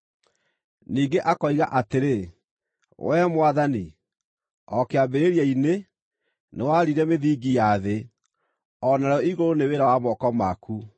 Ningĩ akoiga atĩrĩ, “Wee Mwathani, o kĩambĩrĩria-inĩ, nĩwaarire mĩthingi ya thĩ, o narĩo igũrũ nĩ wĩra wa moko maku.